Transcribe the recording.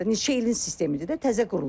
Neçə ilin sistemidir də təzə qurulubdur.